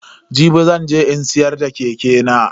Jibi zan je in siyar da keke nan.